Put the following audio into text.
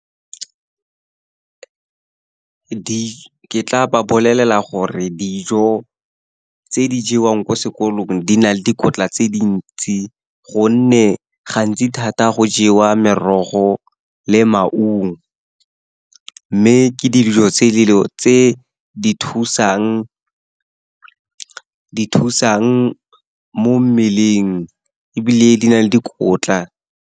Ke tla ba bolelela gore dijo tse di jewang ko sekolong di na le dikotla tse dintsi, gonne gantsi thata go jewa merogo le maungo. Mme ke dijo tse di thusang mo mmeleng, ebile di na le dikotla.